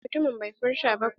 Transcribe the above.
A'a mutumin bai furta ba ko.